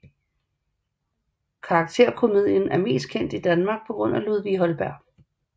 Karakterkomedien er mest kendt i Danmark på grund af Ludvig Holberg